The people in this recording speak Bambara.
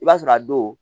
I b'a sɔrɔ a don